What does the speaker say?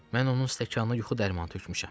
Mən onun stəkanına yuxu dərmanı tökmüşəm.